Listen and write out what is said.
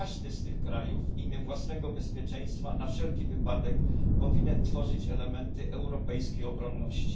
Każdy z tych krajów w imię własnego bezpieczeństwa na wszelki wypadek powinien tworzyć elementy europejskiej obronności.